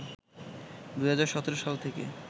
২০১৭ সাল থেকে